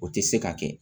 O tɛ se ka kɛ